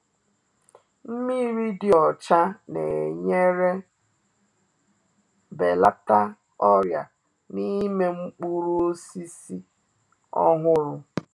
Nmiri dị ọcha na-enyere belata ọrịa na-ime mkpụrụ osisi ọhụrụ